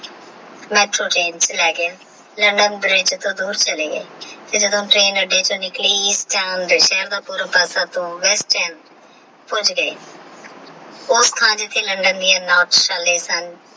LondanBridge ਵਿੱਚ ਲੈ ਗਿਆ Bridge ਤੋਂ ਦੂਰ ਚੱਲੇ ਗਏ ਤੇ ਜਦੋ Train ਉਡੀਕ ਵਿੱਚੋ ਨਿੱਕਲੀ ਉਸ Sakam ਸ਼ਹਿਰ ਦਾ ਸਾਰਾ ਪਾਸਾ ਕੁਝ ਦੇਰ ਉਸ ਤੇ Londan ਦੇ ਅਨਾਥਸ਼ਾਲੇ ਸਨ।